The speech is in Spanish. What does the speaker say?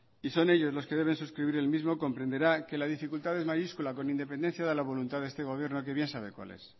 y son ellos los que deben suscribir el mismo comprenderá que la dificultad es mayúscula con independencia de la voluntad de este gobierno que bien ya sabe cuál es